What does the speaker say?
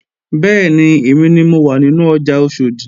Bẹ́ẹ̀ni, èmi ni mo wà nínú ọjà Oṣòdì